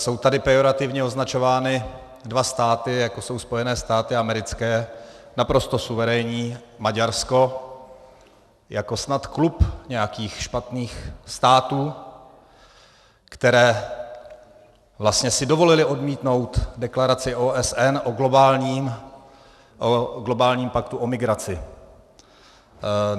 Jsou tady pejorativně označovány dva státy, jako jsou Spojené státy americké, naprosto suverénní, Maďarsko jako snad klub nějakých špatných států, které vlastně si dovolily odmítnout deklaraci OSN o globálním paktu o migraci.